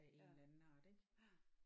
Ja ja